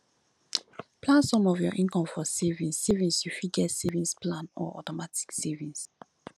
plan some of your income for savings savings you fit get savings plan or automatic savings